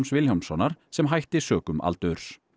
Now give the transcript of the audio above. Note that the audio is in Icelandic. Vilhjálmssonar sem hætti sökum aldurs